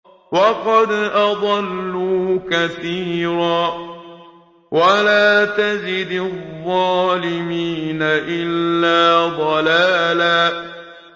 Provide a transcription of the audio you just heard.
وَقَدْ أَضَلُّوا كَثِيرًا ۖ وَلَا تَزِدِ الظَّالِمِينَ إِلَّا ضَلَالًا